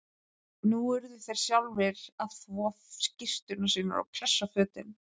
Nú urðu þeir sjálfir að þvo skyrtur sínar og pressa fötin.